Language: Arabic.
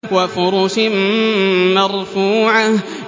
وَفُرُشٍ مَّرْفُوعَةٍ